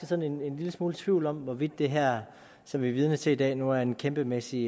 sådan en lille smule tvivl om hvorvidt det her som vi er vidne til i dag nu er en kæmpemæssig